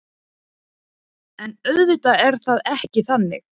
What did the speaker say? En auðvitað er það ekki þannig